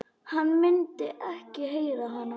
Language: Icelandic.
Hann myndi ekki heyra hana.